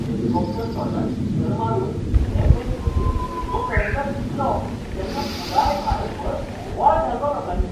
Helicopter शॉटान sixer मारून M. S. धोनीन विश्व करंड जिखलो तेन्ना पुराय भारतभर बोव्वाळ घालो लोकांनी.